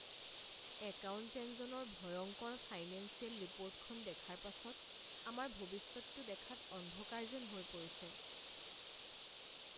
একাউণ্টেণ্টজনৰ ভয়ংকৰ ফাইনেঞ্চিয়েল ৰিপৰ্টখন দেখাৰ পাছত আমাৰ ভৱিষ্যতটো দেখাত অন্ধকাৰ যেন হৈ পৰিছে।